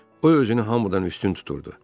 O özünü hamıdan üstün tuturdu.